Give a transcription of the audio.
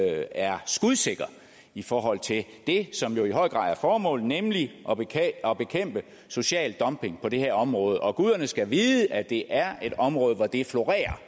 er skudsikker i forhold til det som jo i høj grad er formålet nemlig at bekæmpe social dumping på det her område guderne skal vide at det er et område hvor det florerer